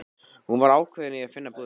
Hún var ákveðin í að finna búðina.